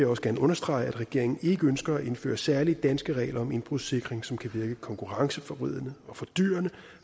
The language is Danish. også gerne understrege at regeringen ikke ønsker at indføre særlige danske regler om indbrudssikring som kan virke konkurrenceforvridende og fordyrende